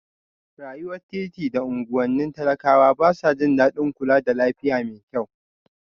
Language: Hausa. Rayuwar titi da unguwannin talakawa ba sa jin daɗin kula da lafiya mai kyau